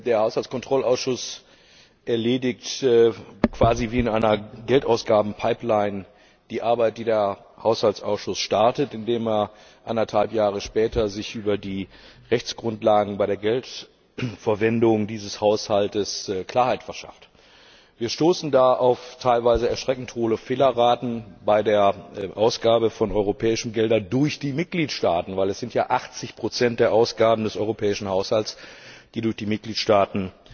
Der Haushaltskontrollausschuss erledigt quasi wie in einer Geldausgabenpipeline die Arbeit, die der Haushaltsausschuss startet, indem er sich anderthalb Jahre später über die Rechtsgrundlagen bei der Geldverwendung dieses Haushalts Klarheit verschafft. Wir stoßen da auf teilweise erschreckend hohe Fehlerraten bei der Ausgabe von europäischen Geldern durch die Mitgliedstaaten, weil es ja 80 der Ausgaben des europäischen Haushalts sind, die durch die Mitgliedstaaten